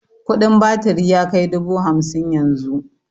Kudin batiri yakai dubu hamsin yanzu